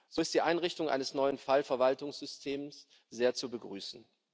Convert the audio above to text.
So ist die Einrichtung eines neuen Fallverwaltungssystems sehr zu begrüßen.